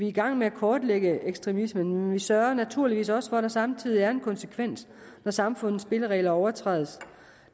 i gang med at kortlægge ekstremismen men vi sørger naturligvis også for at der samtidig er en konsekvens når samfundets spilleregler overtrædes